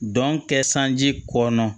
Dɔn kɛ sanji ko kɔnɔ